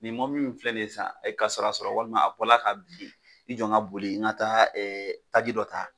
Ni mɔbili min filɛ ni ye sisan, a ye kasara sɔrɔ walima a bɔla ka bin, i jɔ n ka boli ka taa taji dɔ ta.